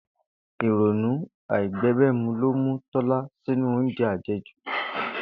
Ìrònú àìbé̩gbé̩mu lo ti Tó̩lání sínú oúnje̩ àje̩jù